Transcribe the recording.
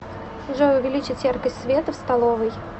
джой увеличить яркость света в столовой